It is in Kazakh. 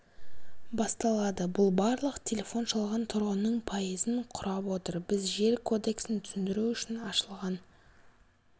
басталады бұл барлық телефон шалған тұрғынның пайызын құрап отыр біз жер кодексін түсіндіру үшін ашылған